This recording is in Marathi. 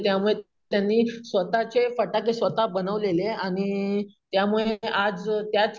त्यामुळे त्यांनी स्वतःचे फटाके स्वतः बनवलेले आणि अम त्यामुळे आज अम त्याच